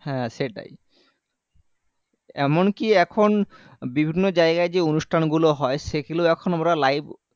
হ্যাঁ সেটাই এমনকি এখন বিভিন্ন জায়গায় যে অনুষ্ঠান গুলো হয় সেগুলোও এখন আমরা live